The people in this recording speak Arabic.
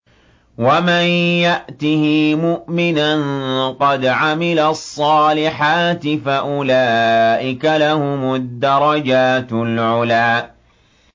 وَمَن يَأْتِهِ مُؤْمِنًا قَدْ عَمِلَ الصَّالِحَاتِ فَأُولَٰئِكَ لَهُمُ الدَّرَجَاتُ الْعُلَىٰ